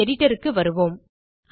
நம் Editorக்கு வருவோம்